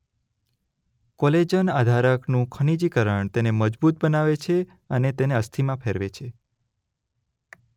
Collagen આધારકનું ખનીજીકરણ તેને મજબૂત બનાવે છે અને તેને અસ્થિમાં ફેરવે છે.